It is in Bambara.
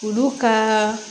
Olu ka